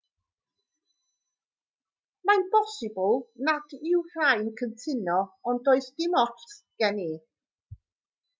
mae'n bosibl nad yw rhai'n cytuno ond does dim ots gen i